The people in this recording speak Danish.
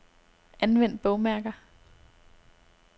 Anvend bogmærker.